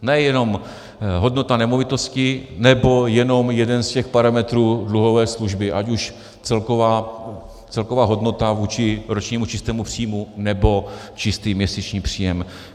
Nejenom hodnota nemovitostí nebo jenom jeden z těch parametrů dluhové služby, ať už celková hodnota vůči ročnímu čistému příjmu, nebo čistý měsíční příjem.